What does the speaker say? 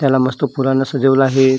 त्याला नुसता फुलानं सजीवल आहे.